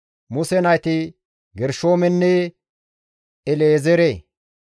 Muse nayti Gershoomenne El7ezeere.